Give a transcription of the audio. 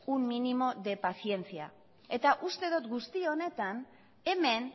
un mínimo de paciencia eta uste dot guzti honetan hemen